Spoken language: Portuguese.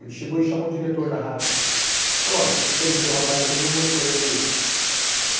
Ele chegou e chamou o diretor da rádio e falou, olha, entrevistei o rapaz aqui, ele não gostou da entrevista.